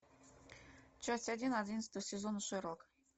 часть один одиннадцатого сезона шерлок